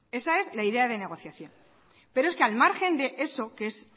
esa es la idea de negociación pero es que al margen de eso que es